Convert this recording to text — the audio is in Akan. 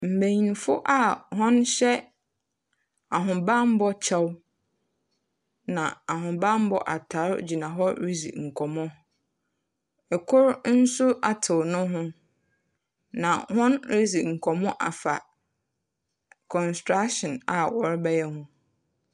Mbanyin a wɔhyɛ ahobambɔ kyɛw na ahobambɔ atar gyina hɔ ridzi nkɔmbɔ. Kor so atsew no ho, na woridzi afa construction a wɔrebɛyɛ ho.